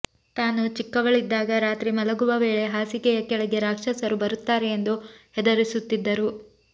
ತಾನು ಚಿಕ್ಕವಳಿದ್ದಾಗ ರಾತ್ರಿ ಮಲಗುವ ವೇಳೆ ಹಾಸಿಗೆಯ ಕೆಳಗೆ ರಾಕ್ಷಸರು ಬರುತ್ತಾರೆ ಎಂದು ಹೆದರಿಸುತ್ತಿದ್ದರು